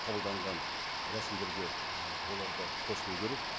қабылданған рәсімдерге ы олар да қосылу керек